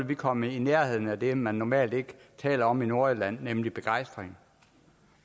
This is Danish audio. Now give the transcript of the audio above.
vi komme i nærheden af det man normalt ikke taler om i nordatlanten nemlig begejstring